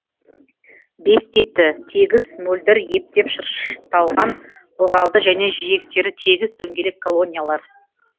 бес типті тегіс мөлдір ептеп шырышталған ылғалды және жиектері тегіс дөңгелек колониялар